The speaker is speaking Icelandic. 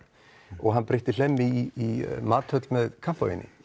og hann breytti Hlemmi í með kampavíni